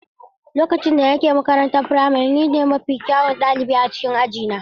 Lokacin da nake makarantar firamare, ni ne mafi kyawun ɗalibi a cikin aji na.